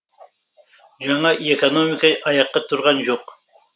жаңа економика аяққа тұрған жоқ